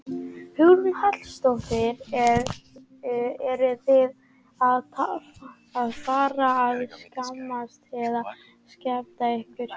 Hugrún Halldórsdóttir: Eruð þið að fara að skemmta eða skemmta ykkur?